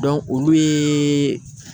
olu ye